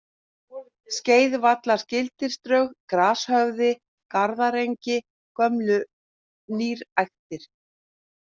Skeiðvallargilsdrög, Grashöfði, Garðaengi, Gömlu nýræktir